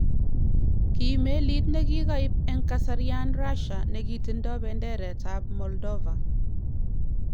Kii meliit nekikaiib en kasarian Russia nekitindo benderet ab Moldova